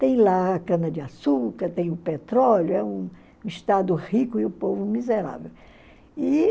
Tem lá a cana-de-açúcar, tem o petróleo, é um Estado rico e o povo miserável.